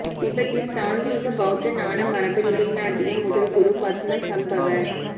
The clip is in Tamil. திபெத்தில் தாந்த்ரீக பௌத்த ஞானமரபை நிலைநாட்டிய முதல் குரு பத்மசம்பவர்